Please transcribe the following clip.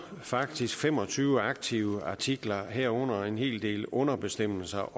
faktisk fem og tyve aktive artikler herunder også en hel del underbestemmelser